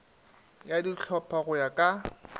ya dihlopha go ya ka